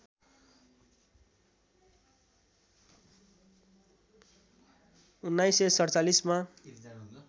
१९४७ मा